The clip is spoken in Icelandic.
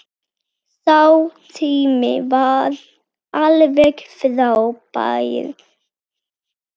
Sá tími var alveg frábær.